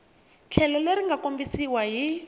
tlhelo leri nga kombisiwa hi